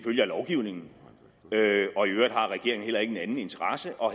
af lovgivningen og i øvrigt har regeringen heller ingen anden interesse og